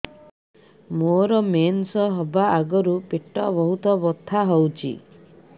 ମୋର ମେନ୍ସେସ ହବା ଆଗରୁ ପେଟ ବହୁତ ବଥା ହଉଚି